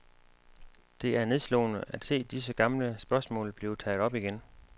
Det er nedslående at se disse gamle spørgsmål blive taget op igen.